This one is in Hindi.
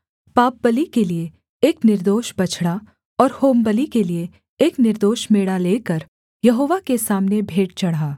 पापबलि के लिये एक निर्दोष बछड़ा और होमबलि के लिये एक निर्दोष मेढ़ा लेकर यहोवा के सामने भेंट चढ़ा